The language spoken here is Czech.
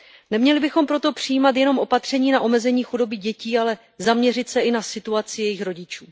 Neměli bychom proto přijímat jen opatření na omezení chudoby dětí, ale zaměřit se i na situaci jejich rodičů.